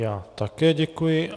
Já také děkuji.